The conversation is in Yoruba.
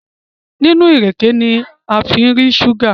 nínú ìrèké ní a fí ń rí ṣúgà